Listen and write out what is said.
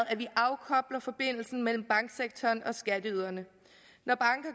at vi afkobler forbindelsen mellem banksektoren og skatteyderne når banker